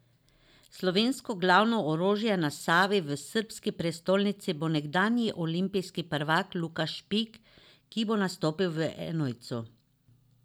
Slovensko glavno orožje na Savi v srbski prestolnici bo nekdanji olimpijski prvak Luka Špik, ki bo nastopil v enojcu.